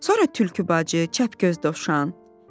Sonra tülkü bacı, çəpgöz dovşan.